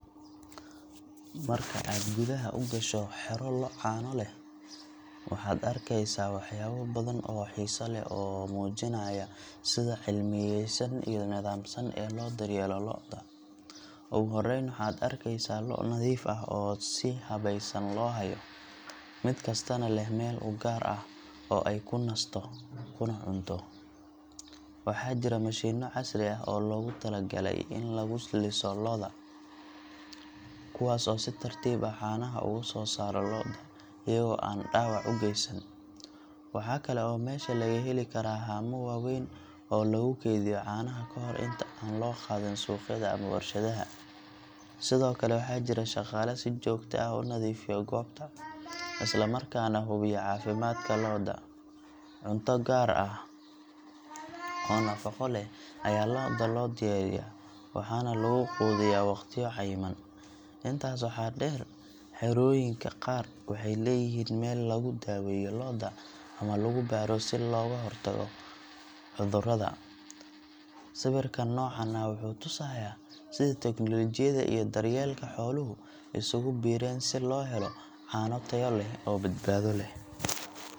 Marka aad gudaha u gasho xero lo’ caano leh, waxaad arkeysaa waxyaabo badan oo xiiso leh oo muujinaya sida cilmiyaysan iyo nidaamsan ee loo daryeelo lo’da. Ugu horreyn, waxaad arkaysaa lo’ nadiif ah oo si habaysan loo hayo, mid kastana leh meel u gaar ah oo ay ku nasto kuna cunto. Waxaa jira mashiinno casri ah oo loogu talagalay in lagu liso lo’da, kuwaas oo si tartiib ah caanaha uga soo saara lo’da iyaga oo aan dhaawac u geysan. Waxa kale oo meesha laga heli karaa haamo waaweyn oo lagu keydiyo caanaha ka hor inta aan loo qaadin suuqyada ama warshadaha. Sidoo kale, waxaa jira shaqaale si joogto ah u nadiifiya goobta, isla markaana hubiya caafimaadka lo’da. Cunto gaar ah oo nafaqo leh ayaa lo’da loo diyaariyaa, waxaana lagu quudiyaa waqtiyo cayiman. Intaas waxaa dheer, xerooyinka qaar waxay leeyihiin meel lagu daweeyo lo’da ama lagu baaro si looga hortago cudurrada. Sawirkan noocan ah wuxuu tusayaa sida tiknoolajiyadda iyo daryeelka xooluhu isugu biireen si loo helo caano tayo leh oo badbaado leh.